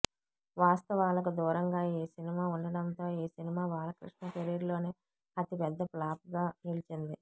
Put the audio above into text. వాస్తవాలకు దూరంగా ఈ సినిమా ఉండడంతో ఈ సినిమా బాలకృష్ణ కెరీర్ లోనే అతి పెద్ద ఫ్లాప్గా నిలిచింది